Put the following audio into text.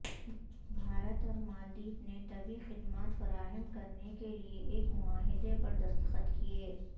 بھارت اور مالدیپ نے طبی خدمات فراہم کرنے کیلئے ایک معاہدے پر دستخط کئے